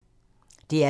DR P2